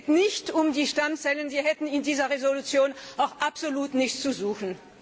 Es geht nicht um die Stammzellen, sie hätten in dieser Entschließung auch absolut nichts zu suchen.